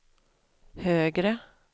högre